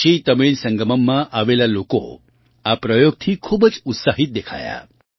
કાશીતમિળ સંગમમમાં આવેલા લોકો આ પ્રયોગથી ખૂબ જ ઉત્સાહિત દેખાયા